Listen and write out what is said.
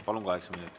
Palun, kaheksa minutit.